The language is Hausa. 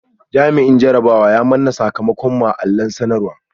Jami’in jarabawa ya manna sakamakon mu a allon sanarwa